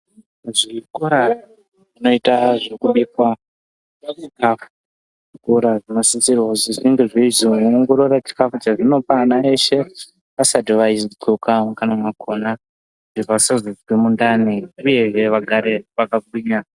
Zvikora zvinoita zvekubikwa chikafu zvikora zvinosisirwa kuzi zvinge zveizoongorora chikafu chezvinopa ana eshe vasati vaidhloka mukanwa makona. Kuti vasazozwa mundani uyehe vagare vakagwinya.